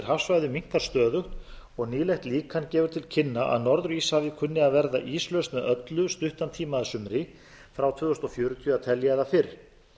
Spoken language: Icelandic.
hafsvæðum minnkar stöðugt og nýlegt líkan gefur til kynna að norður íshafið kunni að verða íslaust með öllu stuttan tíma að sumri frá tvö þúsund fjörutíu að telja eða fyrr